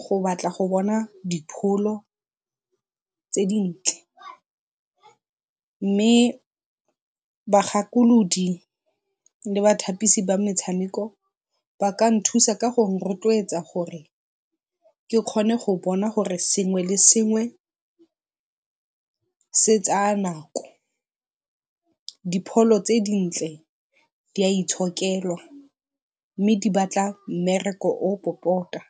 go batla go bona dipholo tse dintle, mme bagakolodi le bathapisi ba metshameko ba ka nthusa go rotloetsa gore ke kgone go bona gore sengwe le sengwe se tsaya nako dipholo tse dintle di a itshokelwa mme di batla mmereko o o popota.